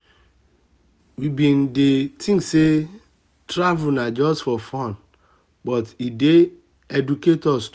we been dey think say travel na just for fun but e dey educate us too.